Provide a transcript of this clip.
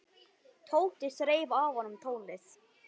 Tóti þreif af honum tólið.